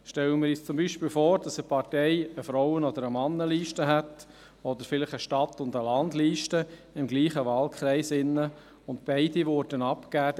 Stellen wir uns zum Beispiel vor, dass eine Partei eine Frauen- und eine Männerliste hat oder vielleicht für denselben Wahlkreis eine Stadt- und eine Landliste, und beide würden abgegeben.